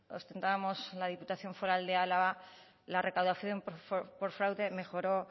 ostentábamos la diputación foral de álava la recaudación por fraude mejoró